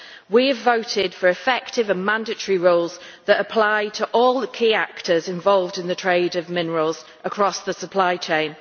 We have voted for effective and mandatory rules that apply to all the key actors involved in the trade of minerals across the supply chain.